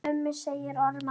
Mummi sagði ormar.